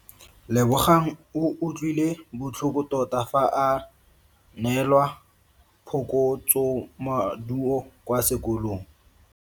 Lebogang o utlwile botlhoko tota fa a neelwa phokotsomaduo kwa sekolong.